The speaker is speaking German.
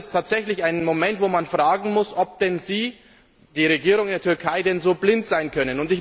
Das ist tatsächlich ein Moment, wo man fragen muss, ob denn die Regierung der Türkei so blind sein kann.